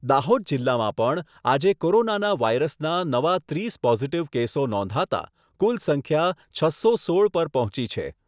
દાહોદ જીલ્લામાં પણ આજે કોરોના વાયરસના નવા ત્રીસ પોઝીટીવ કેસો નોંધાતા કુલ સંખ્યા છસો સોળ પર પહોંચી છે.